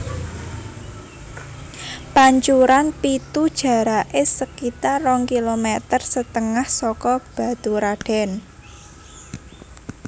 Pancuran Pitu jaraké sekitar rong kilometer setengah saka Baturadèn